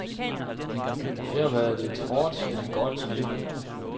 Det har været et hårdt, men godt liv.